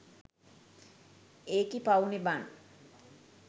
ඒකි පවුනේ බන්